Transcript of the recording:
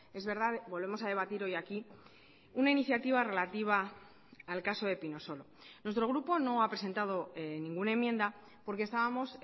es verdad volvemos a debatir hoy aquí una iniciativa relativa al caso depinosolo nuestro grupo no ha presentado ninguna enmienda porque estábamos